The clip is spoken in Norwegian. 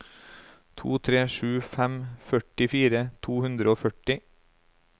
to tre sju fem førtifire to hundre og førti